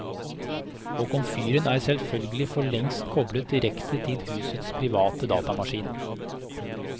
Og komfyren er selvfølgelig for lengst koblet direkte til husets private datamaskin.